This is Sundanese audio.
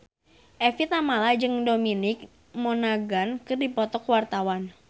Evie Tamala jeung Dominic Monaghan keur dipoto ku wartawan